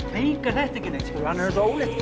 þetta ekkert hann er eins og ólétt